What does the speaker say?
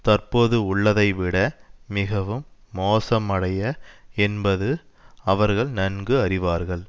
தற்போதுள்ளதை விட மிகவும் மோசமடைய என்பது அவர்கள் நன்கு அறிவார்கள்